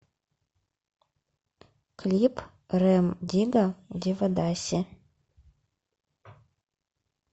клип рем дигга девадаси